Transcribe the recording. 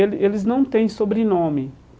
Ele eles não têm sobrenome.